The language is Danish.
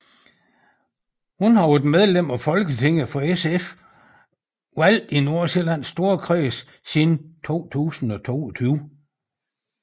Hun var været medlem af Folketinget for SF valgt i Nordsjællands Storkreds siden 2022